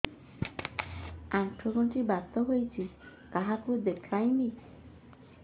ଆଣ୍ଠୁ ଗଣ୍ଠି ବାତ ହେଇଚି କାହାକୁ ଦେଖାମି